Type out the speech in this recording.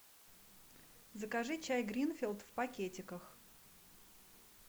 закажи чай гринфилд в пакетиках